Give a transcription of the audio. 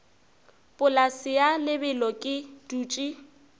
polase ya lebelo ke dutše